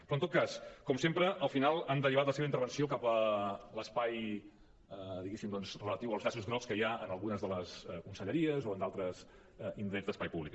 però en tot cas com sempre al final han derivat la seva intervenció cap a l’espai diguéssim relatiu als llaços grocs que hi ha en algunes de les conselleries o en d’altres indrets d’espai públic